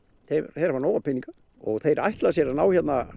þeir hafa nóga peninga og þeir virðast ætla sér að ná hérna